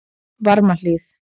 Varmahlíð